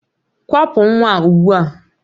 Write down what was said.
Kwapụ nwa ugbu a!